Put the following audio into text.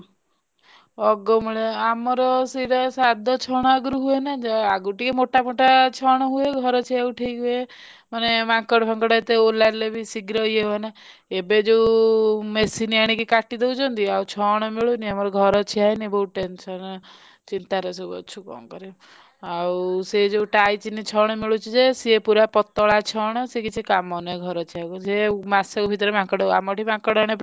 ଅଗମୁଳିଆ ଆମର ସେଇଟା ସାରଦ ଛଣ ଆଗରୁ ହୁଏନା ଯେ ଆଗରୁ ଟିକେ ମୋଟା ମୋଟା ମୋଟା ଛଣ ହୁଏ ଘର ଛିଆକୁ ଠିକ ହୁଏ ମାନେ ମାଙ୍କଡ ଫାଙ୍କଡ ଏତେ ଓଲାରିଲେ ବି ଶୀଘ୍ର ଇଏ ହୁଅନା ଏବେ ଯଉ machine ଆଣି କାଟି ଦଉଛନ୍ତି ଆଉ ଛଣ ମିଳୁନି ଆମର ଘର ଛିଆନ ହେଇନି ବହୁତ tension ଏ ଚିନ୍ତା ରେ ସବୁ ଅଛୁ କଣ କରିବୁ ଆଉ ସେ ଯଉ ଟାଇଚିନ ଛଣ ମିଳୁଛି ଯେ ସେ ପୁରା ପତଳା ଛଣ ସେ କିଛି କାମ କୁ ନୁହ ଘର ଛିଆଙ୍କୁ ସେ।